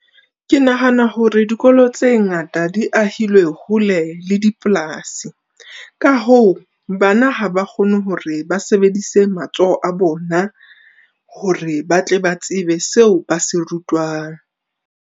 Ke nahana hore dikolo tse ngata di ahilwe hole le dipolasi. Ka hoo bana ha ba kgone hore ba sebedise matsoho a bona hore ba tle ba tsebe seo ba se rutwang.